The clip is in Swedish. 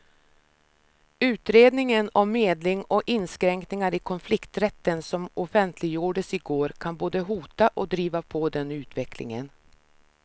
Utredningen om medling och inskränkningar i konflikträtten som offentliggjordes i går kan både hota och driva på den utvecklingen.